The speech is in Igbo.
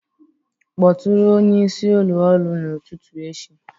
Kpọtụrụ onye isi ụlọ ọrụ n'ụtụtụ echi